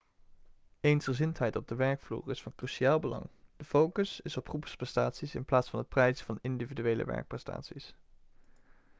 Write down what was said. eensgezindheid op de werkvloer is van cruciaal belang de focus is op groepsprestaties in plaats van het prijzen van individuele werkprestaties